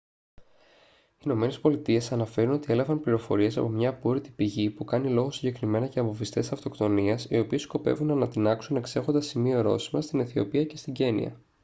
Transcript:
οι ηνωμένες πολιτείες αναφέρουν ότι έλαβαν πληροφορίες από μια απόρρητη πηγή που κάνει λόγο συγκεκριμένα για βομβιστές αυτοκτονίας οι οποίοι σκοπεύουν να ανατινάξουν «εξέχοντα σημεία-ορόσημα» στην αιθιοπία και στην κένυα